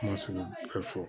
Kuma sugu bɛɛ fɔ